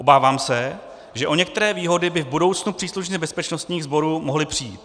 Obávám se, že o některé výhody by v budoucnu příslušníci bezpečnostních sborů mohli přijít.